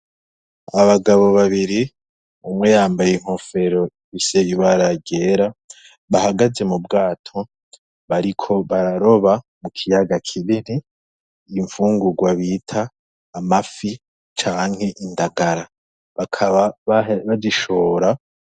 Abagabo babiri, umwe yambaye inkofero ifise ibara ryera bahagaze mu bwato, bariko bararoba mu kiyaga kinini, ifungurwa bita amafi canke indagara, bakaba bazishora.